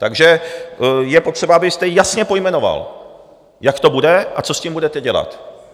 Takže je potřeba, abyste jasně pojmenoval, jak to bude a co s tím budete dělat.